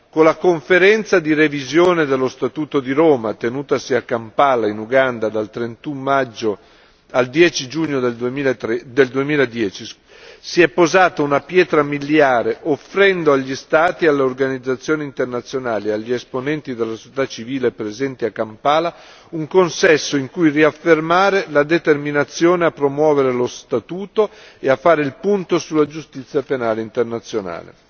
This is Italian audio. Con la Conferenza di revisione dello Statuto di Roma, tenutasi a Kampala, in Uganda, dal 31 maggio al 10 giugno 2010, si è posata una pietra miliare offrendo agli Stati, alle organizzazioni internazionali e agli esponenti della società civile presenti a Kampala un consesso in cui riaffermare la determinazione a promuovere lo Statuto e a fare il punto sulla giustizia penale internazionale,